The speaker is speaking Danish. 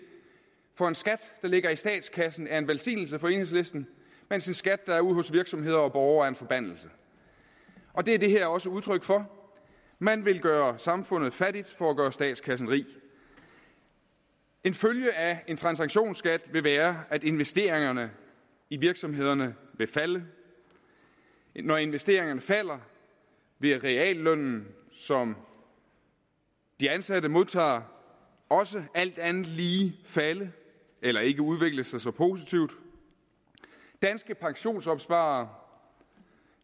for en skat der ligger i statskassen er en velsignelse for enhedslisten mens en skat der er ude hos virksomheder og borgere er en forbandelse og det er det her også udtryk for man vil gøre samfundet fattigt for at gøre statskassen rig en følge af en transaktionsskat vil være at investeringerne i virksomhederne vil falde når investeringerne falder vil reallønnen som de ansatte modtager også alt andet lige falde eller ikke udvikle sig så positivt danske pensionsopsparere